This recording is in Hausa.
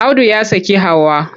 Audu ya saki Hauwa.